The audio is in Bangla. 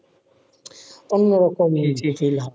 অন্যরকম feel হয়,